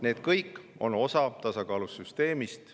Need kõik on osa tasakaalus süsteemist.